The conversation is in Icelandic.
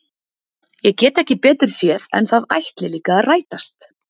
Ég get ekki betur séð en að það ætli líka að rætast!